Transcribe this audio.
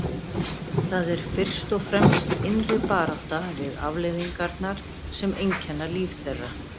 Það er fyrst og fremst innri barátta við afleiðingarnar sem einkenna líf þeirra.